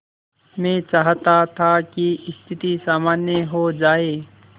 मैं चाहता था कि स्थिति सामान्य हो जाए